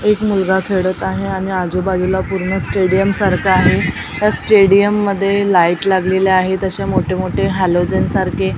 एक मुलगा खेळत आहे आणि आजूबाजूला पूर्ण स्टेडियम सारखं आहे त्या स्टेडियम मध्ये लाईट लागलेल्या आहेत अशा मोठे मोठे हॅलोजन सारखे.